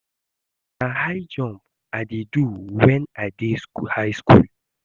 Na high jump I dey do wen I dey high school